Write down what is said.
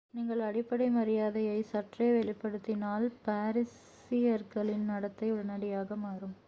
நீங்கள் அடிப்படை மரியாதையை சற்றே வெளிப்படுத்தினால் பாரிஸியர்களின் நடத்தை உடனடியாக மாறும்